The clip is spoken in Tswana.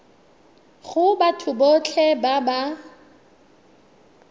go batho botlhe ba ba